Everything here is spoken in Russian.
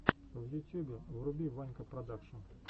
в ютьюбе вруби ванька продакшн